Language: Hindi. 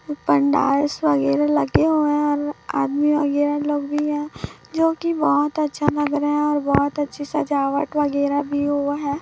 और पंडालस वगैरह लगे हुए है आदमी और ये लोग भी है जो कि बहुत अच्छा लग रहा है और बहुत अच्छी सजावट वगैरह भी हुआ है।